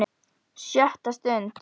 SJÖTTA STUND